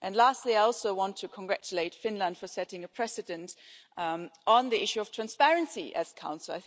Lastly, I also want to congratulate Finland for setting a precedent on the issue of transparency as Council.